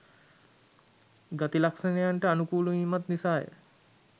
ගති ලක්ෂණයනට අනුකූල වීමත් නිසා ය.